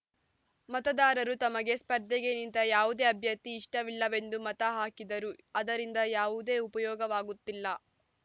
ಮತದಾರರು ತಮಗೆ ಸ್ಪರ್ಧೆಗೆ ನಿಂತ ಯಾವುದೇ ಅಭ್ಯರ್ಥಿ ಇಷ್ಟವಿಲ್ಲವೆಂದು ಮತ ಹಾಕಿದರೂ ಅದರಿಂದ ಯಾವುದೇ ಉಪಯೋಗವಾಗುತ್ತಿಲ್ಲ